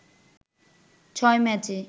ছয় ম্যাচে